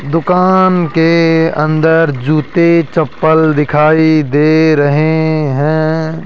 दुकान के अंदर जूते चप्पल दिखाई दे रहे हैं।